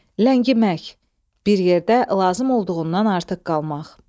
Ləngimək, bir yerdə lazım olduğundan artıq qalmaq.